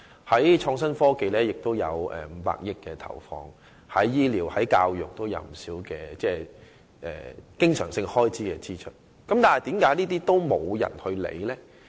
除了在創新科技上有500億元的投放，醫療和教育方面亦有不少經常性開支的支出，但為何卻沒有人理會呢？